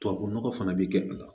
Tubabu nɔgɔ fana bɛ kɛ a la